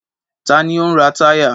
Ta ni ó ń ra táyà?